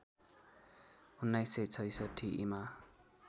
१९६६ ईमा